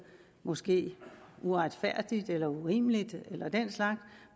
måske uretfærdigt eller urimeligt eller den slags